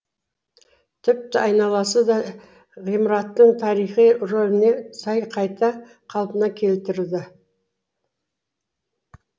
тіпті айналасы да ғимараттың тарихи рөліне сай қайта қалпына келтірілді